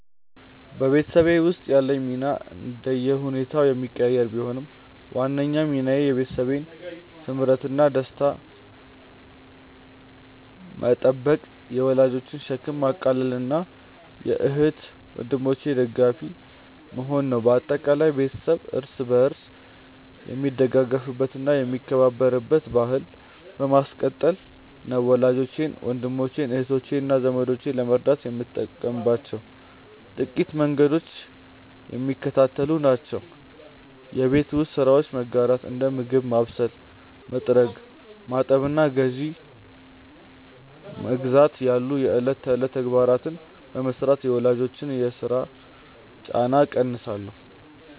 በቤተሰብ ውስጥ ያለኝ ሚና እንደየሁኔታው የሚቀያየር ቢሆንም፣ ዋናው ሚናዬ የቤተሰቡን ስምረትና ደስታ መጠበቅ፣ የወላጆችን ሸክም ማቃለልና የእህት ወንድሞቼ ደጋፊ መሆን ነው። በአጠቃላይ፣ ቤተሰብ እርስ በርስ የሚደጋገፍበትና የሚከባበርበትን ባሕል ማስቀጠል ነው። ወላጆቼን፣ ወንድሞቼን፣ እህቶቼንና ዘመዶቼን ለመርዳት የምጠቀምባቸው ጥቂት መንገዶች የሚከተሉት ናቸው የቤት ውስጥ ስራዎችን መጋራት፦ እንደ ምግብ ማብሰል፣ መጥረግ፣ ማጠብና ግዢ መግዛት ያሉ የዕለት ተዕለት ተግባራትን በመሥራት የወላጆችን የሥራ ጫና እቀንሳለሁ